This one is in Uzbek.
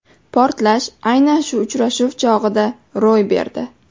Portlash aynan shu uchrashuv chog‘ida ro‘y berdi.